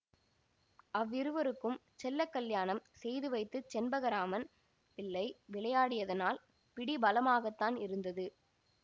அவ்விருவருக்கும் செல்ல கல்யாணம் செய்துவைத்துச் செண்பகராமன் பிள்ளை விளையாடியதனால் பிடி பலமாகத்தான் இருந்தது